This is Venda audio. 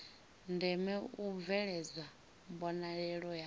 ndeme u bveledzwa mbonalelo ya